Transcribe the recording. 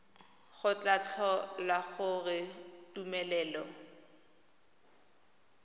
go tla tlhola gore tumelelo